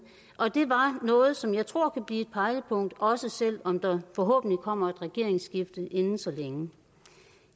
og det var noget som jeg tror kan blive et pejlepunkt også selv om der forhåbentlig kommer et regeringsskifte inden så længe